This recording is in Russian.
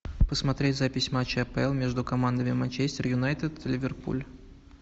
посмотреть запись матча апл между командами манчестер юнайтед ливерпуль